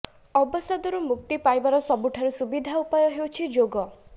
ଅବସାଦରୁ ମୁକ୍ତି ପାଇବାର ସବୁଠାରୁ ସୁବିଧା ଉପାୟ ହେଉଛି ଯୋଗ